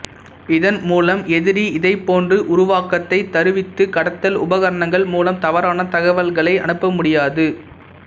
இதன் மூலம் எதிரி இதை போன்று உருவாக்கத்தை தருவித்து கடத்தல் உபகரணங்கள் மூலம் தவறான தகவல்களை அனுப்ப முடியாது